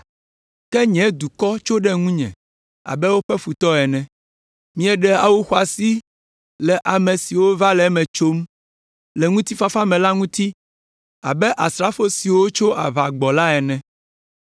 Ke nye dukɔ tso ɖe ŋunye abe woƒe futɔ ene. Mieɖe awu xɔasiwo le ame siwo va le eme tsom le ŋutifafa me la ŋuti abe asrafo siwo tso aʋa gbɔ la ene.